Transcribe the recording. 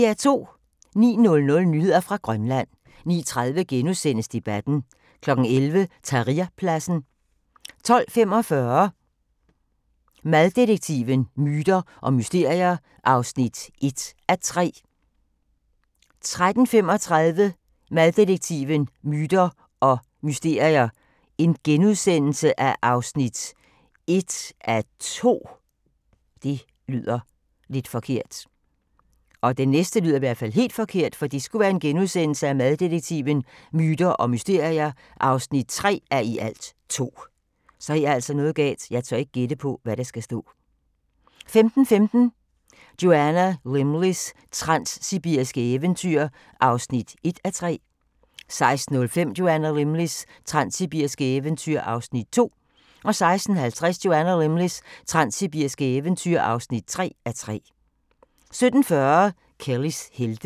09:00: Nyheder fra Grønland 09:30: Debatten * 11:00: Tahrirpladsen 12:45: Mad-detektiven: Myter og mysterier (1:3) 13:35: Maddetektiven: Myter og mysterier (1:2)* 14:25: Maddetektiven: Myter og mysterier (3:2)* 15:15: Joanna Lumleys transsibiriske eventyr (1:3) 16:05: Joanna Lumleys transsibiriske eventyr (2:3) 16:50: Joanna Lumleys transsibiriske eventyr (3:3) 17:40: Kellys helte